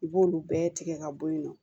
I b'olu bɛɛ tigɛ ka bɔ yen nɔ